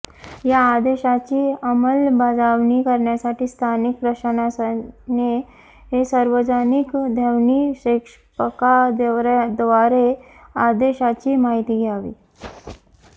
या आदेशाची अंमलबजावणी करण्यासाठी स्थानिक प्रशासनाने सार्वजनिक ध्वनिक्षेपकाद्वारे आदेशाची माहिती द्यावी